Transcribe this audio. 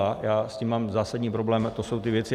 A já s tím mám zásadní problém, to jsou ty věci.